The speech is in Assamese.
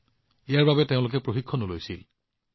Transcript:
তেওঁলোকে ইয়াৰ বাবে প্ৰশিক্ষণো লৈছিল